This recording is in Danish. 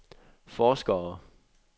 forskere